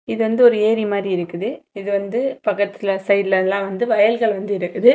இது வந்து ஒரு ஏரி மாரி இருக்குது இது வந்து பக்கத்துல சைடுல எல்லா வந்து வையல்க வந்து இருக்குது.